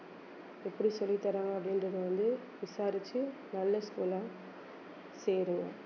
எப்படி சொல்லித்தர்றாங்க அப்படின்றதை வந்து விசாரிச்சு நல்ல school ஆ சேருவோம்